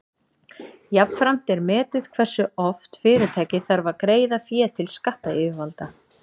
Jafnframt er metið hversu oft fyrirtækið þarf að greiða fé til skattayfirvalda.